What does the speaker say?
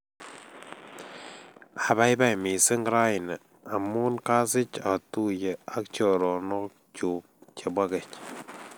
Apaipai missing' raini amun kasich atuye ak choronok chuk chepo keny.